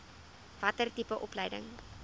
watter tipe opleiding